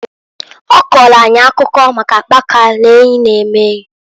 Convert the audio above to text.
Ọ kọọlụ akụkọ maka akpaka n'eyi na-eme enyi.